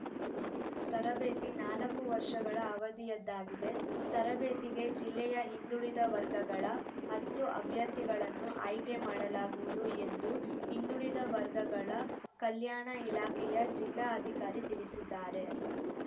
ತರಬೇತಿ ನಾಲ್ಕು ವರ್ಷಗಳ ಅವಧಿಯದ್ದಾಗಿದೆ ತರಬೇತಿಗೆ ಜಿಲ್ಲೆಯ ಹಿಂದುಳಿದ ವರ್ಗಗಳ ಹತ್ತು ಅಭ್ಯರ್ಥಿಗಳನ್ನು ಆಯ್ಕೆ ಮಾಡಲಾಗುವುದು ಎಂದು ಹಿಂದುಳಿದ ವರ್ಗಗಳ ಕಲ್ಯಾಣ ಇಲಾಖೆಯ ಜಿಲ್ಲಾ ಅಧಿಕಾರಿ ತಿಳಿಸಿದ್ದಾರೆ